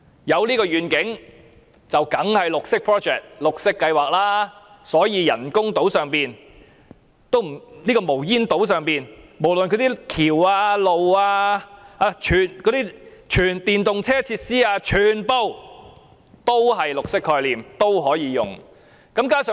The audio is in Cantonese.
"有這個願景，當然是綠色 project 了，所以人工島這個無煙島上的橋、道路或全電動車等設施全部也有綠色概念，全部也可以利用綠色債券。